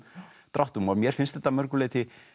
dráttum mér finnst þetta að mörgu leyti